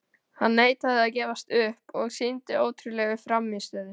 Hann neitaði að gefast upp og sýndi ótrúlega frammistöðu.